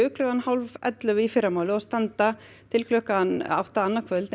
klukkan hálf ellefu í fyrramálið og standa til klukkan átta annað kvöld